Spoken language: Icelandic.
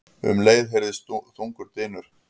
Um leið heyrðist þungur dynur.